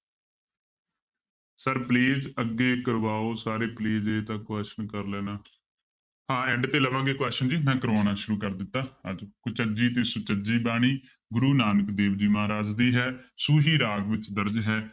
Sir please ਅੱਗੇ ਕਰਵਾਓ ਸਾਰੇ please ਇਹ ਤਾਂ question ਕਰ ਲੈਣਾ ਹਾਂ end ਤੇ ਲਵਾਂਗੇ question ਜੀ ਮੈਂ ਕਰਵਾਉਣਾ ਸ਼ੁਰੂ ਕਰ ਦਿੱਤਾ ਕੁਚਜੀ ਤੇ ਸੁਚਜੀ ਬਾਣੀ ਗੁਰੂ ਨਾਨਕ ਦੇਵ ਜੀ ਮਹਾਰਾਜ ਦੀ ਹੈ ਸੂਹੀ ਰਾਗ ਵਿੱਚ ਦਰਜ਼ ਹੈ